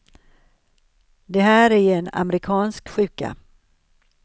Det här är en amerikansk sjuka.